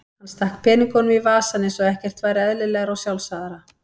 Hann stakk peningunum í vasann eins og ekkert væri eðlilegra og sjálfsagðara.